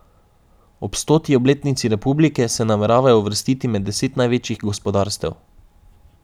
Ob stoti obletnici republike se nameravamo uvrstiti med deset največjih gospodarstev.